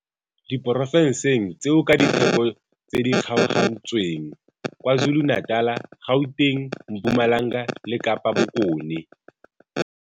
diporofenseng tseo ka ditheko tse di kgaogantsweng KwaZulu-Natal, Gauteng, Mpumalanga le Kapa Bokone.